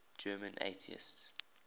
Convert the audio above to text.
german atheists